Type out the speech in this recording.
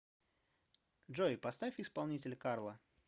джой поставь исполнителя карла